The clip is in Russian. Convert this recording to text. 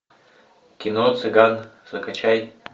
кино цыган закачай